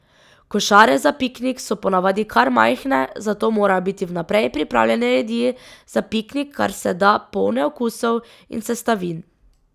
Košare za piknik so ponavadi kar majhne, zato morajo biti vnaprej pripravljene jedi za piknik kar se da polne okusov in sestavin.